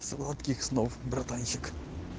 сладких снов братанчик